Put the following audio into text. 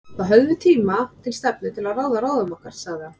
Þá höfum við tíma til stefnu til að ráða ráðum okkar, sagði hann.